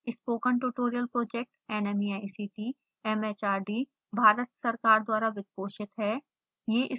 spoken tutorial project nmeict mhrd Bharat सरकार द्वारा वित्त पोषित है